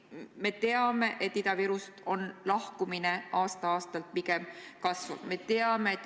Me teame, et Ida-Virumaalt lahkumine aasta-aastalt pigem kasvab.